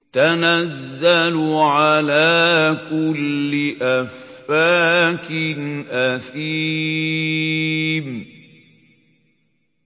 تَنَزَّلُ عَلَىٰ كُلِّ أَفَّاكٍ أَثِيمٍ